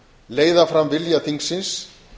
leiða fram vilja þingsins